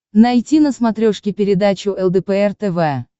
найти на смотрешке передачу лдпр тв